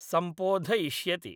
सम्पोधयिष्यति।